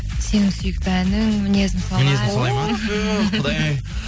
сенің сүйікті әнің мінезім солай мінезім солай ма түһ құдай ай